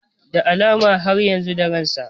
Da alama dai har yanzu da ransa